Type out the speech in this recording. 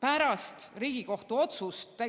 Pärast Riigikohtu otsust